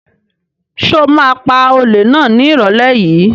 Ṣo ma pa olè náà ní ìrọ̀lẹ́ yìí?